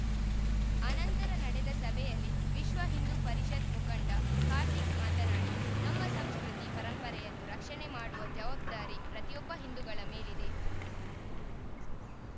ಆನಂತರ ನಡೆದ ಸಭೆಯಲ್ಲಿ ವಿಶ್ವ ಹಿಂದೂ ಪರಿಷತ್‌ ಮುಖಂಡ ಕಾರ್ತಿಕ್‌ ಮಾತನಾಡಿ ನಮ್ಮ ಸಂಸ್ಕೃತಿ ಪರಂಪರೆಯನ್ನು ರಕ್ಷಣೆ ಮಾಡುವ ಜವಬ್ದಾರಿ ಪ್ರತಿಯೊಬ್ಬ ಹಿಂದೂಗಳ ಮೇಲಿದೆ